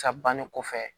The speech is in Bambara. Sa banni kɔfɛ